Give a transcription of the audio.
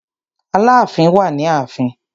Aláàfin wà ni ààfin.